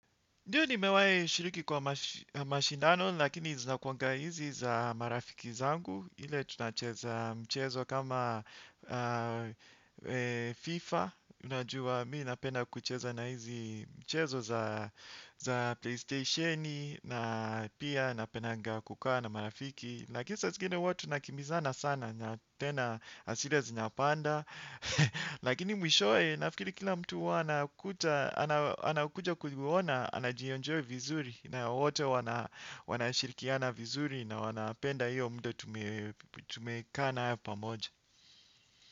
Ndiyo nimewai shiriki kwa mashindano, lakini zinakuanga hizi za marafiki zangu, ile tunacheza mchezo kama FIFA. Unajua mii napenda kucheza na hizi mchezo za PlayStationi, na pia napendanga kukaa na marafiki. Lakini saa zingine huwa tunakimbizana sana na tena hasira zinapanda. Lakini mwishowe nafikiri kila mtu huwa anakuta, anakuja kuona, anajienjoy vizuri na wote wanashirikiana vizuri na wanapenda hiyo muda tumekaa nayo pamoja.